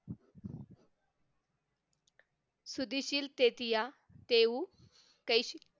सुदी शील तेतिया देऊ कैसे